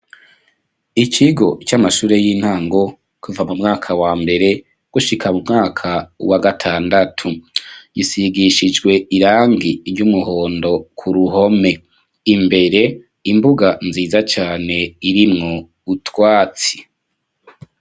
Ikigo c'amashure y'intango, kuva mu mwaka wa mbere gushika mu mwaka wa gatandatu; gisigishijwe irangi ry'umuhondo ku ruhome, imbere imbuga nziza cane irimwo utwatsi.